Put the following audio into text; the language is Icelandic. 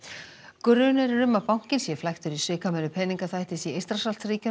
grunur er um að bankinn sé flæktur í svikamyllu peningaþvættis í Eystrasaltsríkjunum